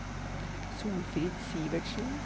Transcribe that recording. Solfrid Sivertsen